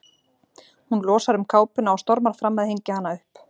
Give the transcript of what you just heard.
Hún losar um kápuna og stormar fram að hengja hana upp.